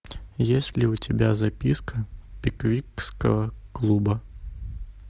есть ли у тебя записка пиквикского клуба